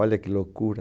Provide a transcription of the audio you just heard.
Olha que loucura.